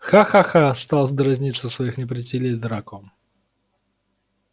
ха-ха-ха стал дразнить своих неприятелей драко